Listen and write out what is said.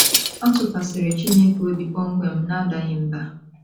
Ọ tụkwasịrị Chineke obi kpomkwem, n’adaghị mbà.